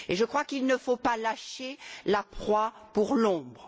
Je crois qu'il ne faut pas lâcher la proie pour l'ombre.